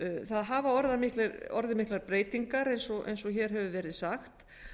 það hafa orðið miklar breytingar eins og hér hefur verið sagt